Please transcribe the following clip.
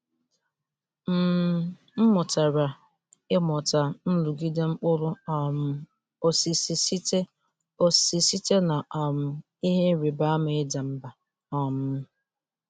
M mụtara ịmata nrụgide mkpụrụ um osisi site osisi site na um ihe ịrịba ama ịda mbà. um